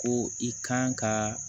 Ko i kan ka